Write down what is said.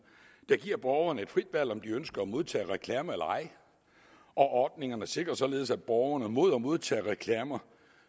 der giver borgerne et frit valg om de ønsker at modtage reklamer eller ej og ordningerne sikrer således borgerne mod at modtage reklamer